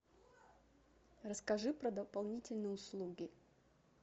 расскажи про дополнительные услуги